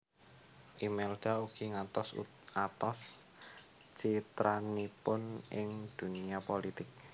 Imelda ugi ngatos atos citranipun ing dunia pulitik